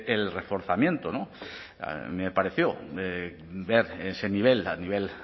el reforzamiento a mí me pareció ver ese nivel a nivel